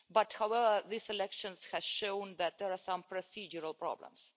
However, this election has shown that there are some procedural problems.